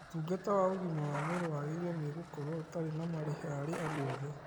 ũtungata wa ũgima wa mwĩrĩ wagĩrĩirwo nĩ gũkorwo ũtari na marĩhi harĩ andu othe